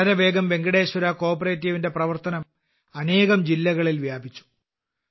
വളരെവേഗം വെങ്കടേശ്വര കോഓപ്പറേറ്റീവിന്റെ പ്രവർത്തനം അനേകം ജില്ലകളിൽ വ്യാപിച്ചു